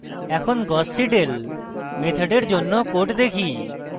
এখন gauss seidel মেথডের জন্য code দেখি